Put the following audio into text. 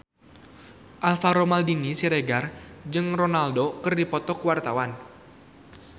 Alvaro Maldini Siregar jeung Ronaldo keur dipoto ku wartawan